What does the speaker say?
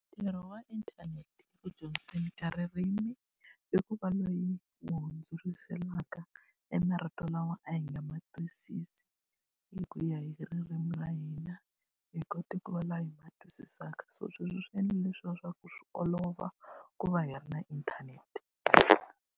Ntirho wa inthanete eku dyondzeni ka ririmi, i ku va loyi yi hundzuriselaka e marito lawa a hi nga ma twisisi hi ku ya hi ririmi ra hina. Hi kota ku va laha hi ma twisisaka. So sweswo swi endla leswiya swa ku swi olova ku va hi ri na inthanete.